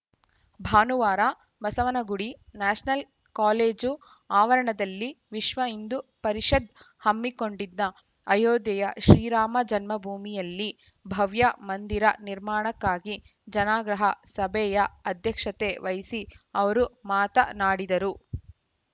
ಭಾನುವಾರ Basavanagudi national college ಆವರಣದಲ್ಲಿ ವಿಶ್ವ ಹಿಂದೂ ಪರಿಷದ್‌ ಹಮ್ಮಿಕೊಂಡಿದ್ದ ಅಯೋಧ್ಯೆಯ ಶ್ರೀರಾಮ ಜನ್ಮಭೂಮಿಯಲ್ಲಿ ಭವ್ಯ ಮಂದಿರ ನಿರ್ಮಾಣಕ್ಕಾಗಿ ಜನಾಗ್ರಹ ಸಭೆಯ ಅಧ್ಯಕ್ಷತೆ ವಹಿಸಿ ಅವರು ಮಾತ ನಾಡಿದರು